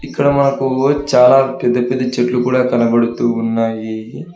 ఇక్కడ మాకు చాలా పెద్ద పెద్ద చెట్లు కూడా కనబడుతూ ఉన్నాయి.